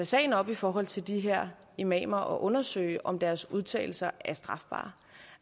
sagen op i forhold til de her imamer og undersøge om deres udtalelser er strafbare